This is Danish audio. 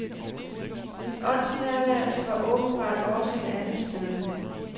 Min åndsnærværelse var åbenbart også et andet sted.